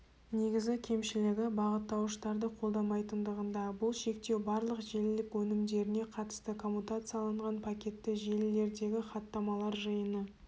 негізгі кемшілігі бағыттауышты қолдамайтындығында бұл шектеу барлық желілік өнімдеріне қатысты коммутацияланған пакетті желілердегі хаттамалар жиыны